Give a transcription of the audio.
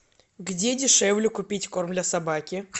где дешевле купить корм для собаки